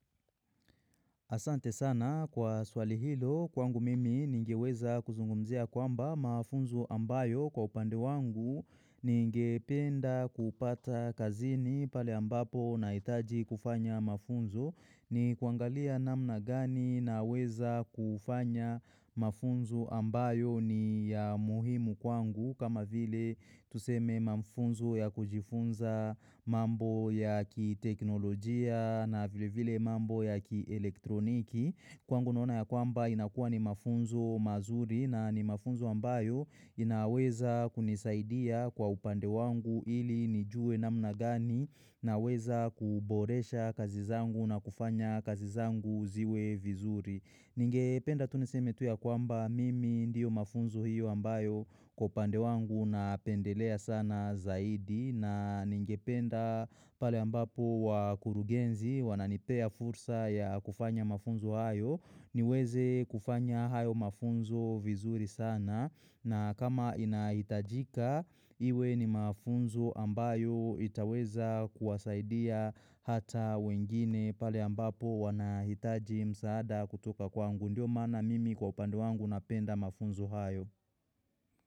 Asante sana kwa swali hilo kwangu mimi ningeweza kuzungumzia kwamba mafunzo ambayo kwa upande wangu ninge penda kupata kazini pale ambapo na itaji kufanya mafunzo. Ni kuangalia namna gani na weza kufanya mafunzo ambayo ni ya muhimu kwangu kama vile tuseme mafunzo ya kujifunza mambo ya ki teknolojia na vile vile mambo ya ki elektroniki. Kwangu naona ya kwamba inakua ni mafunzo mazuri na ni mafunzo ambayo inaweza kunisaidia kwa upande wangu ili nijue namna gani na weza kuboresha kazi zangu na kufanya kazi zangu ziwe vizuri. Ningependa tu niseme tu ya kwamba mimi ndiyo mafunzo hiyo ambayo kwa upande wangu na pendelea sana zaidi na ningependa pale ambapo wakurugenzi wananipea fursa ya kufanya mafunzo hayo niweze kufanya hayo mafunzo vizuri sana. Na kama inahitajika, iwe ni mafunzu ambayo itaweza kuwasaidia hata wengine pale ambapo wanahitaji msaada kutoka kwangu ndio maana mimi kwa upande wangu napenda mafunzo hayo.